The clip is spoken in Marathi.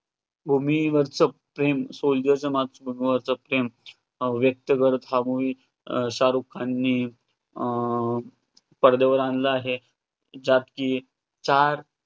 भूमीवरच प्रेम soldier च मातृभूमीवरच प्रेम हे व्यक्त करतं हा movie शाहरुख खानने अं पडद्यावर आणलं आहे ज्यात की चार